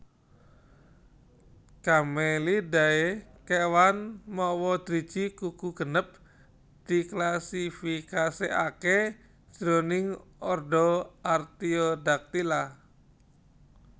Camelidae kéwan mawa driji kuku genep diklasifikasikaké jroning ordo Artiodactyla